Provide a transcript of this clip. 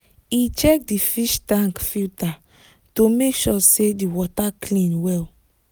he check the fish tank filter to make sure say the water clean well